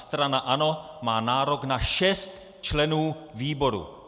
Strana ANO má nárok na šest členů výboru.